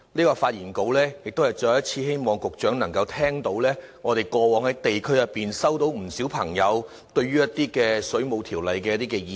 我發言是希望局長能再次聽到，我們過往在地區上接獲不少市民對《水務設施條例》所發表的意見。